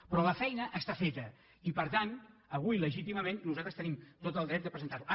però la feina està feta i per tant avui legítimament nosaltres tenim tot el dret de presentar·lo